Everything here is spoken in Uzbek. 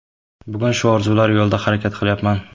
Bugun shu orzular yo‘lida harakat qilyapman”.